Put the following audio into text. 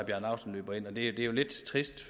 laustsen løber ind og det er jo lidt trist